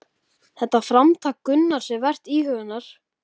Þetta framtak Gunnars er vert íhugunar.